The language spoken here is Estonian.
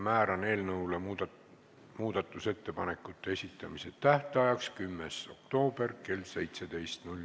Määran eelnõu muudatusettepanekute esitamise tähtajaks 10. oktoobri kell 17.